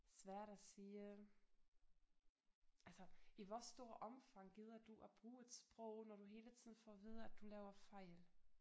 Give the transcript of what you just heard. Svært at sige altså i hvor stor omfang gider du at bruge et sprog når du hele tiden får at vide at du laver fejl